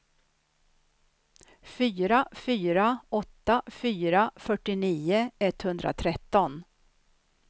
fyra fyra åtta fyra fyrtionio etthundratretton